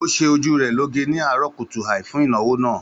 Ó ṣe ojú rẹ̀ lọ́ge ni àárọ̀ kùtùàì fún ìnáwó náà